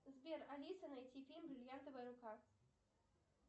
сбер алиса найти фильм бриллиантовая рука